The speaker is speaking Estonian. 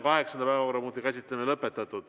Kaheksanda päevakorrapunkti käsitlemine on lõpetatud.